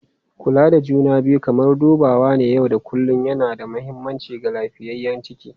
Kula da juna biyu kamar dubawa na yau da kullun yana da mahimmanci ga lafiyayyen ciki.